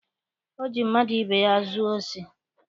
O ji mmadụ ibe ya zuo osi?